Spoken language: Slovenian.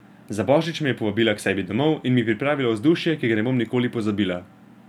Za božič me je povabila k sebi domov in mi pripravila vzdušje, ki ga ne bom nikoli pozabila.